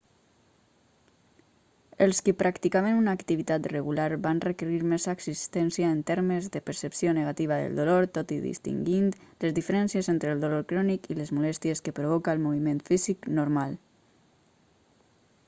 els qui practicaven una activitat regular van requerir més assistència en termes de percepció negativa del dolor tot distingint les diferències entre el dolor crònic i les molèsties que provoca el moviment físic normal